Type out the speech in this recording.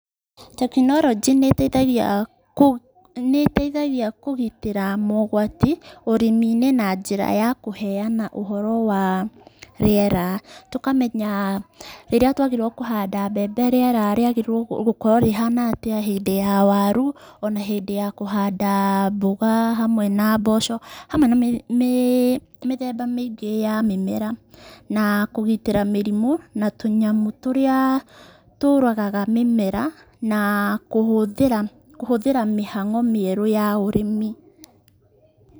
Tekinoronjĩ nĩ ĩteithagia kũgitĩra mogwati ũrĩmi-inĩ na njĩra ya kũheana ũhoro wa rĩera, tũkamenya rĩrĩa twagĩrĩirwo kũhanda mbembe rĩera rĩagĩrĩire gũkorwo rĩhana atĩa, hĩndĩ ya waru, o na hĩndĩ ya kũhanda mboga hamwe na mboco, hamwe na mĩthemba mĩingĩ ya mĩmera, na kũgitĩra mĩrimũ na tũnyamũ tũrĩa tũragaga mĩmera na kũhũthĩra mĩhang'o mĩerũ ya ũrĩmi.